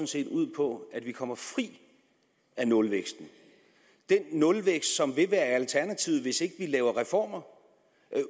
set ud på at vi kommer fri af nulvæksten den nulvækst som vil være alternativet hvis ikke vi laver reformer